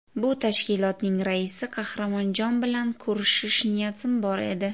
Bu tashkilotning raisi Qahramonjon bilan ko‘rishish niyatim bor edi.